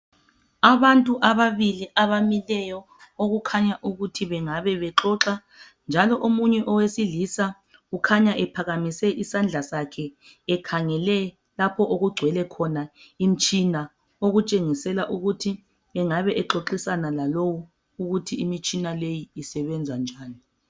Abantu ababili abamileyo okukhanya ukuthi bengabe bexoxa njalo omunye owesilisa ukhanya ephakamise isandla sakhe ekhangele lapho okugcwele khona imitshina okutshengisela ukuthi engabe exoxisana lalowu ukuthi imitshina leyi isebenza njani.